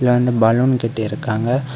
அங்க பலூன் கட்டி இருக்காங்க.